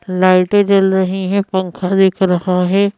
लाइटें जल रही है पंखा दिख रहा है।